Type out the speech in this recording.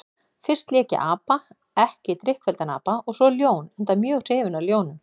Fyrst lék ég apa, ekki drykkfelldan apa, og svo ljón, enda mjög hrifinn af ljónum.